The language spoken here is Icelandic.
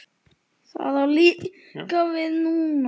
Það á líka við núna.